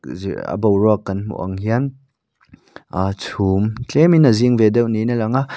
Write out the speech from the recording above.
ziah a boruak kan hmu ang hian ahh chhum tlemin a zing ve deuh niin a lang a.